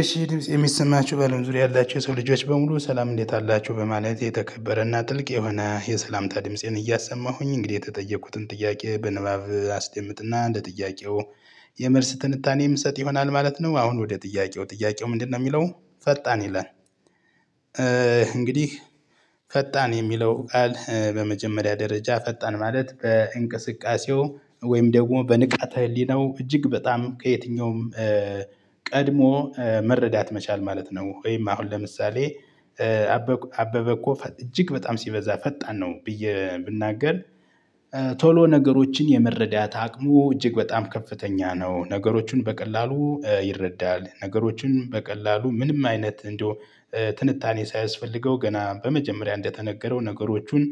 እሺ ድምጽ የሚሰማችሁ በለም ዙሪያ ያላችሁ የሰው ልጆች በሙሉ ሰላም እንዴት አላችሁ በማለት የተከበረና ጥልቅ የሆነ የሰላምታ ድምፄን እያሰማሁኝ እንግዲህ የተጠየቁትን ጥያቄ በንባብ አስደምጥና እንደ ጥያቄው የመልስ ትንታኔ የምሰጥ ይሆናል ማለት ነው። አሁን ወደ ጥያቄው ጥያቄው ምንድነው የሚለው ፈጣን ይላል? እንግዲህ ፈጣን የሚለው ቃል በመጀመሪያ ደረጃ ፈጣን ማለት በእንቅስቃሴው ወይም ደግሞ በንቃተ ህሊናው እጅግ በጣም ከየትኛውም ቀድሞ መረዳት መቻል ማለት ነው። ወይም አሁን ለምሳሌ አበበ እኮ እጅግ በጣም ሲበዛ ፈጣን ነው ብዬ ብናገር ቶሎ ነገሮችን የመረዳት አቅሙ እጅግ በጣም ከፍተኛ ነው። ነገሮችን በቀላሉ ይረዳል ነገሮችን በቀላሉ ምንም አይነት እንደው ትንታኔ ሳያስፈልገው ገና በመጀመሪያ እንደተነገረው ነገሮቹን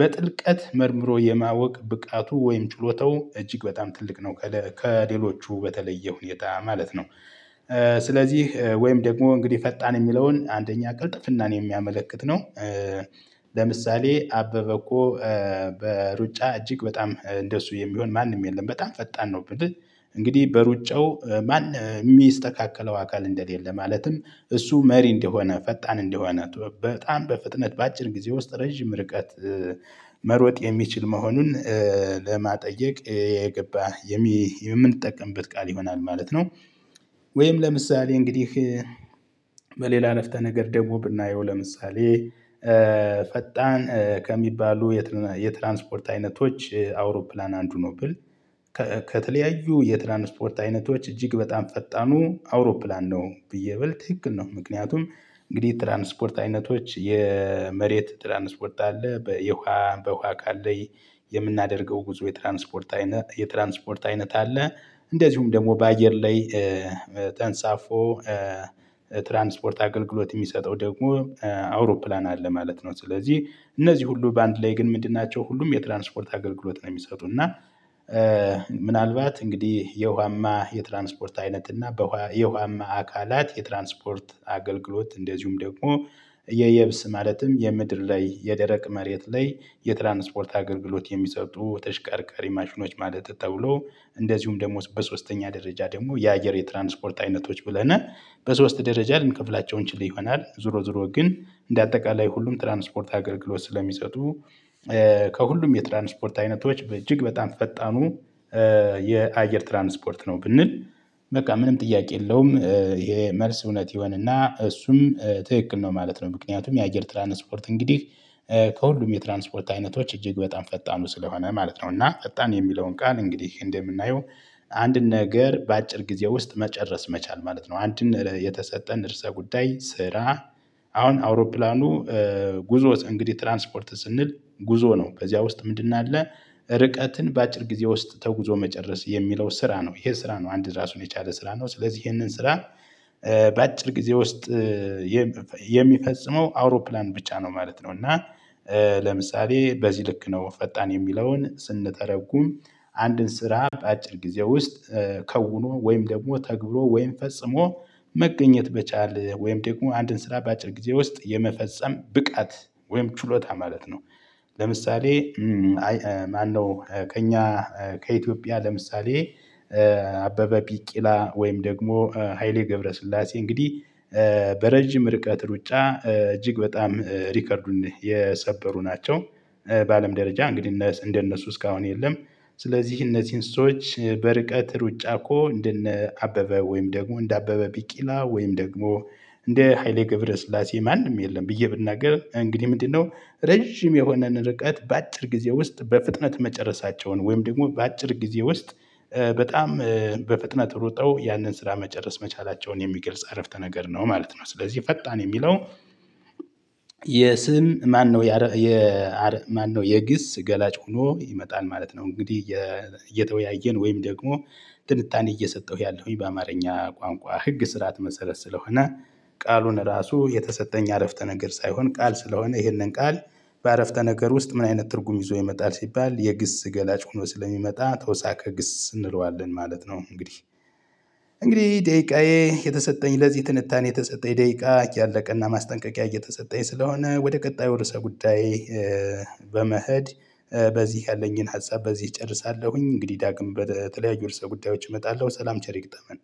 በጥልቀት መርምሮ የማወቅ ብቃቱ ወይም ችሎታው እጅግ በጣም ትልቅ ነው ከሌሎቹ በተለየ ሁኔታ ማለት ነው። ስለዚህ ወይም ደግሞ እንግዲህ ፈጣን የሚለውን አንደኛ ቅልጥፍናን የሚያመለክት ነው። ለምሳሌ አበበ እኮ በሩጫ እጅግ በጣም እንደሱ የሚሆን ማንም የለም በጣም ፈጣን ነው። ብልህ እንግዲህ በሩጫው ማን የሚስተካከለው አካል እንደሌለ ማለትም እሱ መሪ እንደሆነ ፈጣን እንደሆነ በጣም በፍጥነት በአጭር ጊዜ ውስጥ ረጅም ርቀት መሮጥ የሚችል መሆኑን ለማጠየቅ የገባህ የምንጠቀምበት ቃል ይሆናል ማለት ነው። ወይም ለምሳሌ እንግዲህ በሌላ አረፍተ ነገር ደግሞ ብናየው ለምሳሌ ፈጣን ከሚባሉ የትራንስፖርት አይነቶች አውሮፕላን አንዱ ነው። ብል ከተለያዩ የትራንስፖርት አይነቶች እጅግ በጣም ፈጣኑ አውሮፕላን ነው ብዬ ብል ትክክል ነው። ምክንያቱም እንግዲህ የትራንስፖርት አይነቶች የመሬት ትራንስፖርት አለ በውሃ በውሃ አካል ላይ የምናደርገው ጉዞ የትራንስፖርት አይነት የትራንስፖርት አይነት አለ እንደዚሁም ደግሞ በአየር ላይ ተንሳፎ ትራንስፖርት አገልግሎት የሚሰጠው ደግሞ አውሮፕላን አለ ማለት ነው። ስለዚህ እነዚህ ሁሉ በአንድ ላይ ግን ምንድን ናቸው ሁሉም የትራንስፖርት አገልግሎት ነው የሚሰጡን እና። ምናልባት እንግዲህ የውሃማ የትራንስፖርት አይነት እና የውሃማ አካላት የትራንስፖርት አገልግሎት እንደዚሁም ደግሞ የየብስ ማለትም የምድር ላይ የደረቅ መሬት ላይ የትራንስፖርት አገልግሎት የሚሰጡ ተሽከርካሪ ማሽኖች ማለት ተብሎ እንደዚሁም ደግሞ በሶስተኛ ደረጃ ደግሞ የአየር የትራንስፖርት አይነቶች ብለን በሶስት ደረጃ ልንከፍላቸው እንችል ይሆናል። ዞሮ ዞሮ ግን እንደ አጠቃላይ ሁሉም ትራንስፖርት አገልግሎት ስለሚሰጡ ከሁሉም የትራንስፖርት አይነቶች በእጅግ በጣም ፈጣኑ የአየር ትራንስፖርት ነው ብንል በቃ ምንም ጥያቄ የለውም ይሄ መልስ እውነት ይሆንና እሱም ትክክል ነው። ማለት ምክንያቱም የአየር ትራንስፖርት እንግዲህ ከሁሉም የትራንስፖርት አይነቶች እጅግ በጣም ፈጣኑ ስለሆነ ማለት ነው። እና ፈጣን የሚለውን ቃል እንግዲህ እንደምናየው አንድን ነገር በአጭር ጊዜ ውስጥ መጨረስ መቻል ማለት ነው። አንድን የተሰጠን እርእሰ ጉዳይ ስራ አሁን አውሮፕላኑ ጉዞ እንግዲህ ትራንስፖርት ስንል ጉዞ ነው በዚያ ውስጥ ምንድን አለ ርቀትን በአጭር ጊዜ ውስጥ ተጉዞ መጨረስ የሚለው ስራ ነው ይሄ ስራ ነው አንድ ራሱን የቻለ ስራ ነው። ስለዚህ ይሄንን ስራ በአጭር ጊዜ ውስጥ የሚፈጽመው አውሮፕላን ብቻ ነው ማለት ነው። እና ለምሳሌ በዚህ ልክ ነው ፈጣን የሚለውን ስንተረጉም አንድን ስራ በአጭር ጊዜ ውስጥ ከውኖ ወይም ደግሞ ተግብሮ ወይም ፈጽሞ መገኘት መቻል ወይም ደግሞ አንድን ስራ በአጭር ጊዜ ውስጥ የመፈጸም ብቃት ወይም ችሎታ ማለት ነው። ለምሳሌ ማነው ከእኛ ከኢትዮጵያ ለምሳሌ አበበ ቢቂላ ወይም ደግሞ ሃይሌ ገብረስላሴ እንግዲህ በረጅም ርቀት ሩጫ እጅግ በጣም ሪከርዱን የሰበሩ ናቸው። በአለም ደረጃ እንግዲህ እንደነሱ እስካሁን የለም። ስለዚህ እነዚህን ስዎች በርቀት ሩጫ እኮ እንደነ አበበ ወይም ደግሞ እንደአበበ ቢቂላ ወይም ደግሞ እንደ ሃይሌ ገብረስላሴ ማንም የለም ብዬ ብናገር እንግዲህ ምንድነው ረጅም የሆነን ርቀት በአጭር ጊዜ ውስጥ በፍጥነት መጨረሳቸውን ወይም ደግሞ በአጭር ጊዜ ውስጥ በጣም በፍጥነት ሩጠው ያንን ስራ መጨረስ መቻላቸውን የሚገልጽ አረፍተ ነገር ነው ማለት ነው። ስለዚህ ፈጣን የሚለው የስም ማነው የማነው የግስ ገላጭ ሆኖ ይመጣል ማለት ነው። እንግዲህ እየተወያየን ወይም ደግሞ ትንታኔ እየሰጠሁ ያለሁኝ በአማርኛ ቋንቋ ህግ ስርዓት መሰረት ስለሆነ። ቃሉን ራሱ የተሰጠኝ አረፍተ ነገር ሳይሆን ቃል ስለሆነ ይሄንን ቃል በአረፍተ ነገር ውስጥ ምን አይነት ትርጉም ይዞ ይመጣል ሲባል የግስ ገላጭ ሆኖ ስለሚመጣ ተውሳከግስ እንለዋለን ማለት ነው። እንግዲህ እንግዲህ ደቂቃዬ የተሰጠኝ ለዚህ ትንታኔ የተሰጠኝ ደቂቃ እያለቀ እና ማስጠንቀቂያ እየተሰጠኝ ስለሆነ ወደ ቀጣዩ ርዕሰ ጉዳዬ። በመሄድ በዚህ ያለኝን ሀሳብ በዚህ እጨርሳለሁኝ። እንግዲህ ዳግም በተለያዩ ርዕሰ ጉዳዮች እመጣለሁ። ሰላም ቸር ይገጠመን።